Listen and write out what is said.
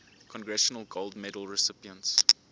congressional gold medal recipients